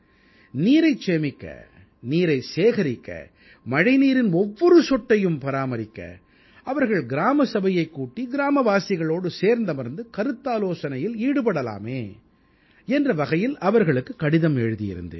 நீரைச் சேமிக்க நீரைச் சேகரிக்க மழைநீரின் ஒவ்வொரு சொட்டையும் பராமரிக்க அவர்கள் கிராம சபையைக் கூட்டி கிராமவாசிகளோடு சேர்ந்தமர்ந்து கருத்தாலோசனையில் ஈடுபடலாமே என்ற வகையில் அவர்களுக்கு கடிதம் எழுதியிருந்தேன்